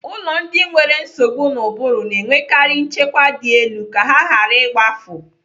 Ụlọ ndị nwere nsogbu n'ubụrụ na-enwekari nchekwa dị elu ka ha ghara igbafu.